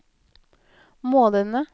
månedene